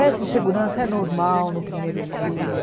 Essa insegurança é normal no primeiro dia.